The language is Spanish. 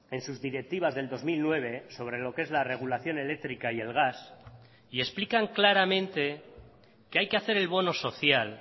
en sus directivas del dos mil nueve sobre lo que es la regulación eléctrica y el gas y explican claramente que hay que hacer el bono social